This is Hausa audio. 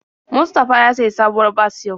Mustafa ya sayi sabuwar bas yau.